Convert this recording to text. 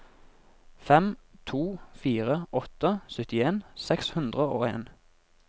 fem to fire åtte syttien seks hundre og en